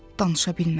Danışa bilmədi.